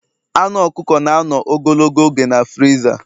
Anu ọkụkọ na-anọ ogologo oge na friza